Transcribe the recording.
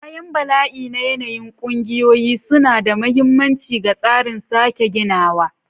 Bayan bala'i na yanayi, ƙungiyoyi suna da mahimmanci ga tsarin sake ginawa.